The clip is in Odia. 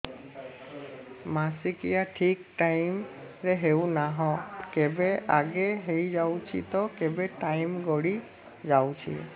ମାସିକିଆ ଠିକ ଟାଇମ ରେ ହେଉନାହଁ କେବେ ଆଗେ ହେଇଯାଉଛି ତ କେବେ ଟାଇମ ଗଡି ଯାଉଛି